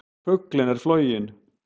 Fuglinn er floginn!